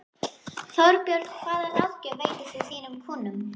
Þorbjörn: Hvaða ráðgjöf veitir þú þínum kúnnum?